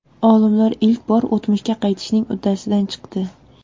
Olimlar ilk bor o‘tmishga qaytishning uddasidan chiqdi.